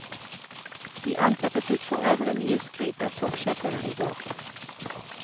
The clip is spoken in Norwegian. De ansatte fikk for øvrig mye skryt av toppsjefene i går.